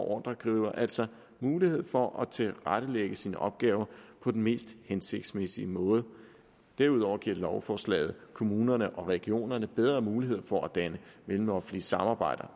ordregiver altså mulighed for at tilrettelægge sine opgaver på den mest hensigtsmæssige måde derudover giver lovforslaget kommunerne og regionerne bedre muligheder for at danne mellemoffentlige samarbejder